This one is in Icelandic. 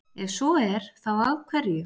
Ef svo er, þá af hverju?